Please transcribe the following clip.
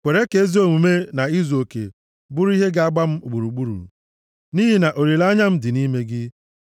Kwere ka ezi omume na izuoke bụrụ ihe ga-agba m gburugburu, nʼihi na olileanya m dị nʼime gị.